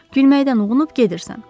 Gülməkdən uğunub gedirsən.